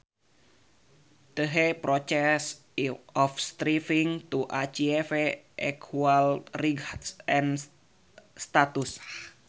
The process of striving to achieve equal rights and status